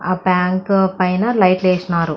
ఆ బ్యాంకు పైన లైట్స్ వేశారు.